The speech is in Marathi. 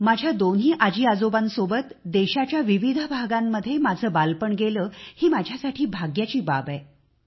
माझ्या दोन्ही आजीआजोबांसोबत देशाच्या विविध भागांमध्ये माझे बालपण गेले ही माझ्यासाठी सौभाग्याची बाब आहे